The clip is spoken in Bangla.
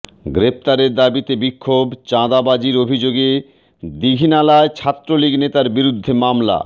গ্রেপ্তারের দাবিতে বিক্ষোভ চাঁদাবাজির অভিযোগে দীঘিনালায় ছাত্রলীগ নেতার বিরুদ্ধে মামলা